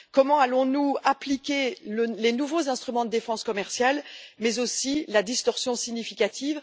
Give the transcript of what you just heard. Comment allons nous appliquer les nouveaux instruments de défense commerciale, mais aussi la distorsion significative?